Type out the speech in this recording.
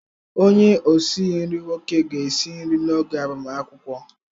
Onye osi nri nwoke ga-esi nri n'oge agbamakwụkwọ.